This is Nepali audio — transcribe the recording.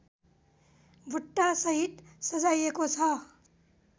बुट्टासहित सजाइएको छ